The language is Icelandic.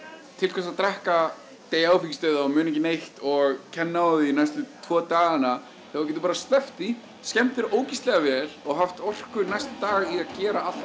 til hvers að drekka deyja áfengisdauða og muna ekki neitt og kenna á því næstu tvo dagana þegar þú getur bara sleppt því skemmt þér ógeðslega vel og haft orku næsta dag í að gera allt